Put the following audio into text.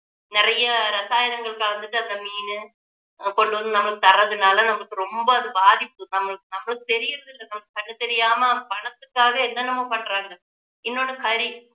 நிறைய ரசாயனங்கள் கலந்துட்டு அந்த மீனு கொண்டு வந்து நமக்கு தர்றதுனால நமக்கு ரொம்ப பாதிப்பு நம்மளு~ நம்மளுக்கு தெரியறது இல்ல நமக்கு கண்ணு தெரியாம பணத்துக்காக என்னென்னவோ பண்றாங்க இன்னொண்ணு கறி